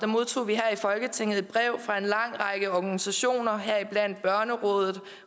modtog vi her i folketinget et brev fra en lang række organisationer heriblandt børnerådet